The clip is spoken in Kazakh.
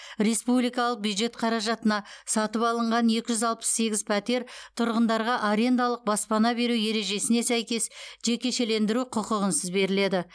республикалық бюджет қаражатына сатып алынған екі жүз алпыс сегіз пәтер тұрғындарға арендалық баспана беру ережесіне сәйкес жекешелендіру құқығынсыз беріледі